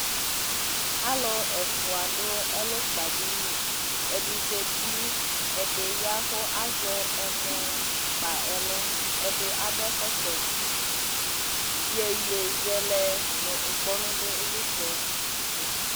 Alʋ ɛfʋa dʋ ɛlʋkpadini Ɛdɩ zati , ɛdɩ ya kʋ azɛ ɛmɔ kpa ɛlgʋ, ɛdɩ akɔ ɛkɔtɔ Iyeyezɛlɛ nʋ ŋkpɔnʋ dʋ ɩlɩtsɛtʋ